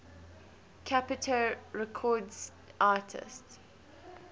capitol records artists